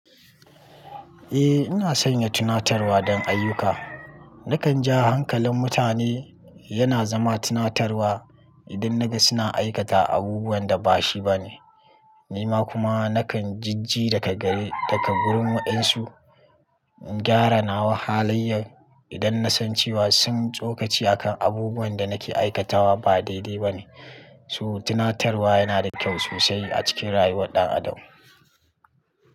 Eh, ina sanya tunatarwa don ayyuka. Nakan ja hankalin mutane yana zama tunatarwa idan naga suna aikata abubuwan da bashi bane. Ni ma kuma nakan jijji daga gurin wa'insu, in gyara nawa halayyar idan nasan cewa sun tsokaci a kan abubuwan da nake aikatawa ba daidai ba ne. So tunatarwa yana da kyau sosai a cikin rayuwar ɗan adam.